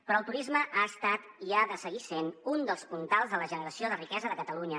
però el turisme ha estat i ha de seguir sent un dels puntals de la generació de riquesa de catalunya